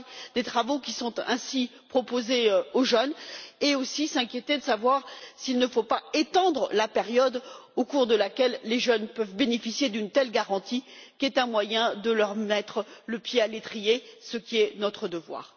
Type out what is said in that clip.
des travaux qui sont ainsi proposés aux jeunes et aussi de s'inquiéter de savoir s'il ne faut pas étendre la période au cours de laquelle les jeunes peuvent bénéficier d'une telle garantie, qui est un moyen de leur mettre le pied à l'étrier, ce qui est notre devoir.